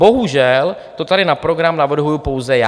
Bohužel to tady na program navrhuji pouze já.